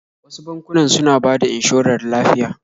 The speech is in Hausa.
Wasu bankunan suna bada inshorar lafiya